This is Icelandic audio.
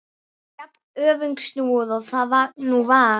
Jafn öfugsnúið og það nú var.